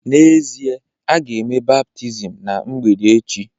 N’ezie, a ga-eme baptizim ná mgbede echi